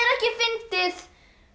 ekki fyndið